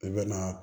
I bɛna